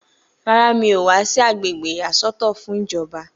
Rárá, mi ò wá sí agbègbè ìyàsọ́tọ̀ fún ìjọba